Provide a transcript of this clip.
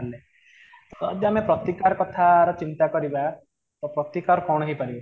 ଯଦି ଆମେ ପ୍ରତିକାର କଥା ଆର ଚିନ୍ତା କରିବା ତ ପ୍ରତିକାର କ'ଣ ହେଇପାରିବ ?